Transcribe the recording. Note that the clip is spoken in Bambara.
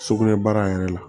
Sugunɛbara yɛrɛ la